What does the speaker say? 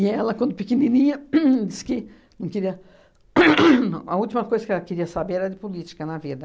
ela, quando pequenininha hum, disse que não queria hum hum a última coisa que ela queria saber era de política na vida.